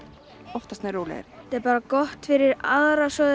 oftast nær rólegri þetta er bara gott fyrir aðra svo